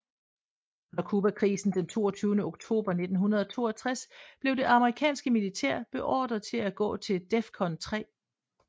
Under Cubakrisen den 22 oktober 1962 blev det amerikanske militær beordret til at gå til DEFCON 3